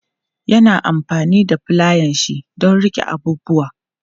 Ya na amfani da fulayanshi don riƙe abubuwa.